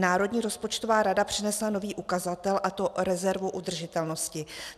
Národní rozpočtová rada přinesla nový ukazatel, a to rezervu udržitelnosti.